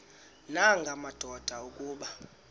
nanga madoda kuba